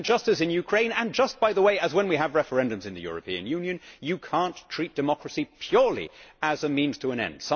Just as in Ukraine and, by the way, just as when we have referendums in the European Union, you cannot treat democracy purely as a means to an end.